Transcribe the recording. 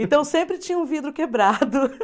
Então, sempre tinha um vidro quebrado.